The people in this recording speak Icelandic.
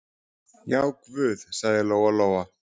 Já, guð, sagði Lóa-Lóa.